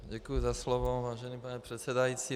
Děkuji za slovo, vážený pane předsedající.